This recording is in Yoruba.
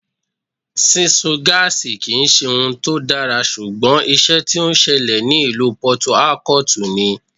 Sísun gáásì kì ń ṣe ohun tó dára, ṣùgbọ́n ìṣe tí ó ṣẹlẹ̀ ní ìlú Pọtu Ákótùù ni.